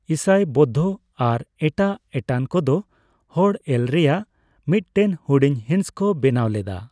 ᱤᱥᱟᱹᱭ, ᱵᱳᱫᱽᱫᱷᱚ ᱟᱨ ᱮᱴᱟᱜ ᱮᱴᱟᱱ ᱠᱚᱫᱚ ᱦᱚᱲ ᱮᱞ ᱨᱮᱭᱟᱜ ᱢᱤᱫᱴᱮᱱ ᱦᱩᱰᱤᱧ ᱦᱤᱸᱥ ᱠᱚ ᱵᱮᱱᱟᱣ ᱞᱮᱫᱟ ᱾